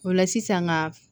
O la sisan ka